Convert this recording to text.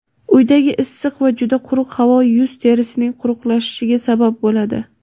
Uydagi issiq va juda quruq havo yuz terisining quruqlashishiga sabab bo‘ladi.